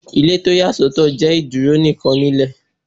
Ile ti o ya sọtọ jẹ iduro nikan Ilé